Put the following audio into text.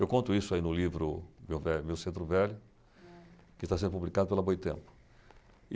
Eu conto isso aí no livro Meu Velho, Meu Centro Velho, que está sendo publicado pela Boitempo.